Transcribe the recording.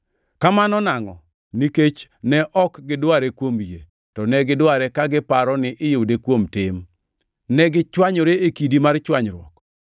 Kamano nangʼo? Nikech ne ok gidware kuom yie, to ne gidware ka giparo ni iyude kuom tim. Negichwanyore e kidi mar chwanyruok.